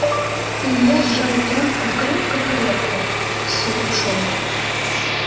илья сжал трубку крепко-крепко слушал